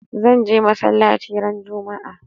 Zan je masallaci ran juma'a